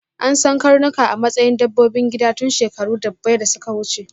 An san karnuka a matsayin dabbobin gida tun shekaru ɗubbai da suka wuce.